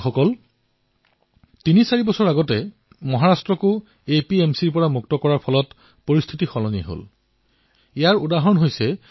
বন্ধুসকল তিনি চাৰি বছৰ পূৰ্বে মহাৰাষ্ট্ৰত ফল আৰু শাকপাচলিক এপিএমচিৰ আওতাৰ বাহিৰত ৰখা হৈছিল